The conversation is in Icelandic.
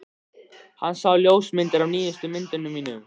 Hann sá ljósmyndir af nýjustu myndunum mínum.